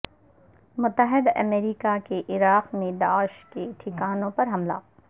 متحدہ امریکہ کے عراق میں داعش کےٹھکانوں پر حملے